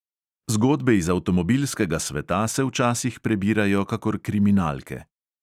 Zgodbe iz avtomobilskega sveta se včasih prebirajo kakor kriminalke.